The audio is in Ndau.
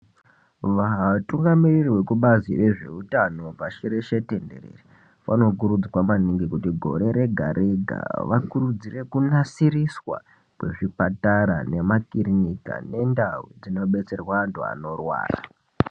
Vatungamiriri vekubazi rezve utano pashi reshe tenderere ,vanokurudzirwa maningi kuti gore rega rega ,vakurudzire kunasiriswa kwezvipatara nema kirinika nendawu dzinodetserwa anthu anorwara.